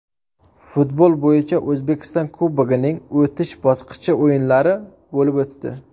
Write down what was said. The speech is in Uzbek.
Futbol bo‘yicha O‘zbekiston Kubogining o‘tish bosqichi o‘yinlari bo‘lib o‘tdi.